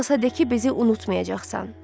Heç olmasa de ki, bizi unutmayacaqsan.